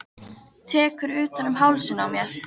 Tekur utan um hálsinn á mér.